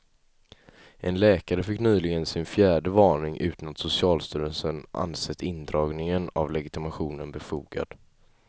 En läkare fick nyligen sin fjärde varning utan att socialstyrelsen ansett indragning av legitimationen befogad.